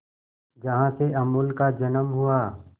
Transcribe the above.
जहां से अमूल का जन्म हुआ